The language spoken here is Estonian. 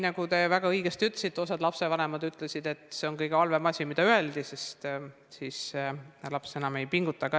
Nagu te väga õigesti ütlesite, osa lapsevanemaid ütles, et see on kõige halvem asi, sest siis laps enam ei pinguta.